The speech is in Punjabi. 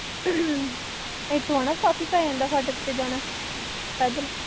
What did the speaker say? ਇੱਥੋਂ ਹੈ ਨਾ ਕਾਫੀ ਪੈ ਜਾਂਦਾ ਫਾਟਕ ਤੇ ਜਾਣਾ, ਪੈਦਲ